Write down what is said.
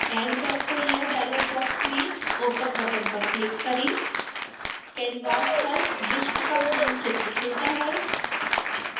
add vector layer dialogue box में open button पर click करें canvas पर विश्व का मानचित्र खुलता है